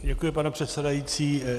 Děkuji, pane předsedající.